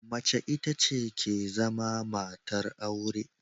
Mace ita ke zama matar aure.